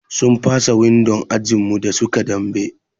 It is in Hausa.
Sun fasa windon ajin mu da suke dambe.